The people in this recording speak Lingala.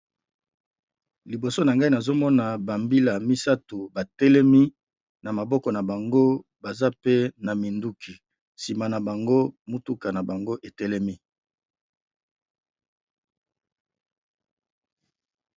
Liboso na ngai nazo mona ba mbila misato ba telemi, na maboko na bango baza pe na minduki, sima na bango mutuka na bango e telemi .